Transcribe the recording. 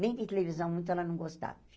Nem de televisão muito ela não gostava.